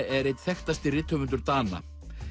er einn þekktasti rithöfundur Dana